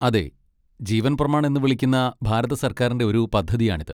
അതെ, ജീവൻ പ്രമാൺ എന്ന് വിളിക്കുന്ന ഭാരത സർക്കാരിൻ്റെ ഒരു പദ്ധതിയാണിത്.